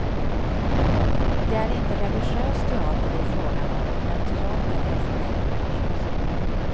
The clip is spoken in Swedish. Det är inte religiös teater det är fråga om, men teater är för mig religiöst.